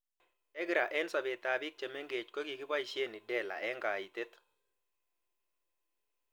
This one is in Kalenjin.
EGRA eng' sobet ab pik che meng'ech ko kikipoishe IDELA eng' kaitet